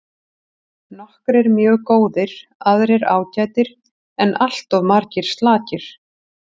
Nokkrir mjög góðir aðrir ágætir en alltof margir slakir.